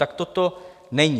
Takto to není.